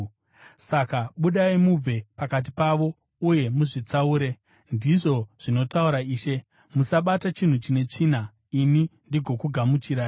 “ ‘Saka budai mubve pakati pavo uye muzvitsaure,’ ndizvo zvinotaura Ishe. ‘Musabata chinhu chine tsvina, ini ndigokugamuchirai.’ ”